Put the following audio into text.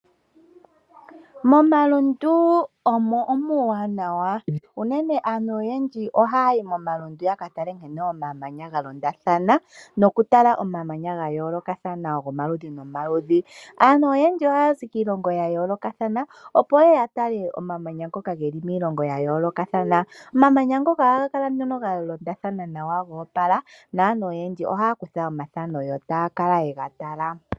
Momalundu omuwanawa aantu oyendji oha yayi momalundu ya katale omamanya ga yoolokathana nankene galondathana gomaludhi nomaludhi. Aantu oyendji ohaya zi kiilongo ya yoolokothana, opo yeye yatale omamanya ngoka geli miilongo ya yoolokothana. Omamanya ngoka ohaga kala goopala galondathana naantu oyendji ohaye gathaneke noku kala yega tala.